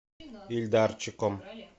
ильдарчиком